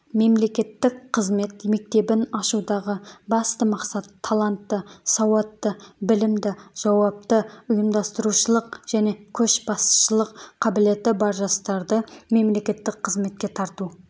мемлекеттік қызмет мектебін ашудағы басты мақсат талантты сауатты білімді жауапты ұйымдастырушылық және көшбасшылық қабілеті бар жастарды мемлекеттік қызметке тарту